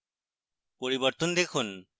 পরিবর্তন দেখুন